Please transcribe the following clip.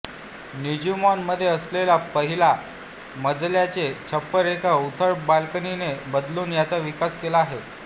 निजुमॉन मध्ये असलेला पहिला मजल्याचे छप्पर एका उथळ बाल्कनीने बदलून याचा विकास केला आहे